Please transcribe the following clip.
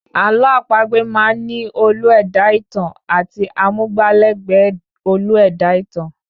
Àlọ́ àpagbè máá ń ní olú-ẹ̀dá-ìtàn àti amúgbálẹ̀gbẹ́ olú-ẹ̀dá-ìtàn